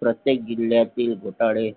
प्रत्येक जिल्ह्यातील घोटाळे